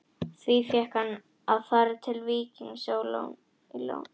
Því fékk hann að fara til Víkings á láni.